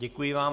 Děkuji vám.